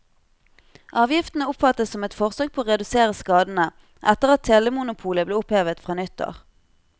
Avgiftene oppfattes som et forsøk på å redusere skadene etter at telemonopolet ble opphevet fra nyttår.